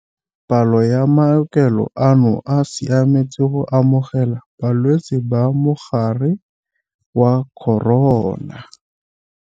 Palo ya maokelo ano a siametse go amogela balwetse ba mogare wa corona.